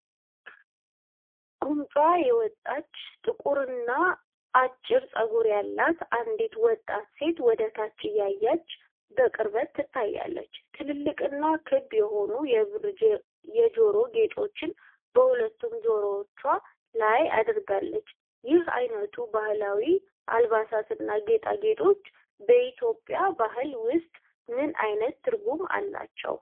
ጉንጯ የወጣች፣ ጥቁርና አጭር ፀጉር ያላት አንዲት ወጣት ሴት ወደ ታች እያየች በቅርበት ትታያለች። ትልልቅና ክብ የሆኑ የብር ጆሮ ጌጦች በሁለቱም ጆሮዎቿ ላይ አድርጋለች። ይህ አይነቱ ባህላዊ አልባሳትና ጌጣጌጦች በኢትዮጵያ ባሕል ውስጥ ምን ዓይነት ትርጉም አላቸው?